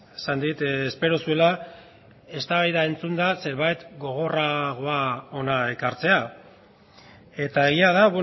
esan dit espero zuela eztabaida entzunda zerbait gogorragoa hona ekartzea eta egia da